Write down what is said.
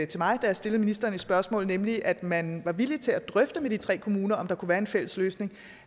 til mig da jeg stillede ministeren et spørgsmål nemlig at man var villig til at drøfte med de tre kommuner om der kunne være en fælles løsning